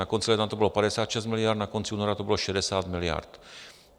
Na konci ledna to bylo 56 miliard, na konci února to bylo 60 miliard.